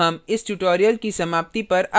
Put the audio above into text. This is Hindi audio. इसी के साथ अब हम इस tutorial की समाप्ति पर आ गए हैं